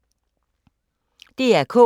DR K